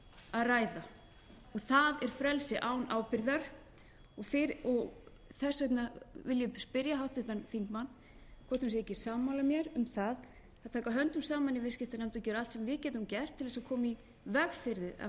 að ræða það er frelsi án ábyrgðar þess vegna vil ég spyrja háttvirtan þingmann hvort hún sé ekki sammála mér um það að taka höndum saman í viðskiptanefnd og gera allt sem við getum gert til þess að koma í veg fyrir að